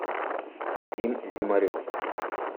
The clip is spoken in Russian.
вадим зимарев